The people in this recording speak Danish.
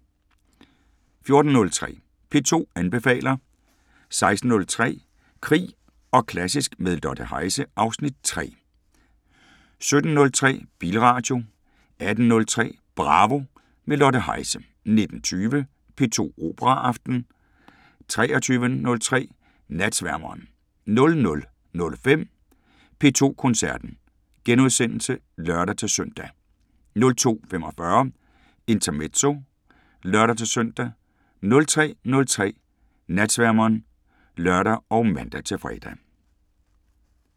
14:03: P2 anbefaler 16:03: Krig og klassisk – med Lotte Heise (Afs. 3) 17:03: Bilradio 18:03: Bravo – med Lotte Heise 19:20: P2 Operaaften 23:03: Natsværmeren 00:05: P2 Koncerten *(lør-søn) 02:45: Intermezzo (lør-søn) 03:03: Natsværmeren (lør og man-fre)